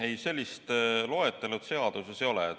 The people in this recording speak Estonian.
Ei, sellist loetelu seaduses ei ole.